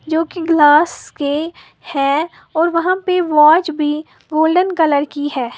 जो कि ग्लास के है और वहां पे वॉच भी गोल्डन कलर की है।